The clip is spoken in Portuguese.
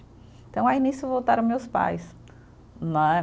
Então, aí nisso voltaram meus pais, né.